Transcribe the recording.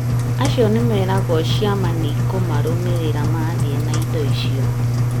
acio nĩmeragwo ciama nĩikũmarũmĩrĩra mathiĩ na indo icio